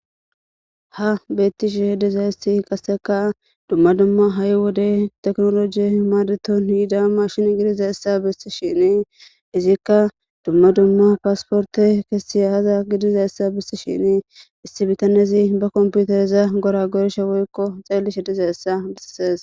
Ha beettishe dizayssi qassekka dumma dumma ha'i wode tekinoloje maadeton yida maashshine gidizayssa bessishin izikka dumma dumma pasiporte bessiya aaza gidishin issi bitanezi ba kompitereza goragorishin woykko xeellishe dizayssa besses.